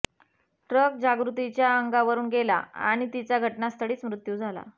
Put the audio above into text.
truck जागृतीच्या अंगावरून गेला आणि तीचा घटनास्थळीच मृत्यू झाला